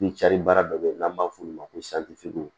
N cari baara dɔ bɛ yen n'an b'a f'olu ma ko